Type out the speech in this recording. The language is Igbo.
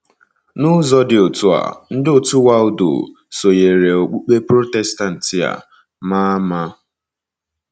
N’ụzọ dị otú a, ndị òtù Waldo sonyeere okpukpe Protestantị a ma ama.